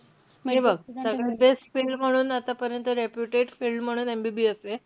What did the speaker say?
म्हणजे बघ, सगळ्यात best field म्हणून, आतापर्यंत reputed field म्हणून, MBBS ए.